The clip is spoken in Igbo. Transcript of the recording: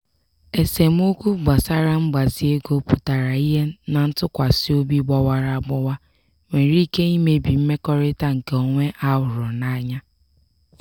esemokwu gbasara mgbazi ego pụtara ihe na ntụkwasị obi gbawara agbawa nwere ike imebi mmekọrịta nke onwe a hụrụ anya.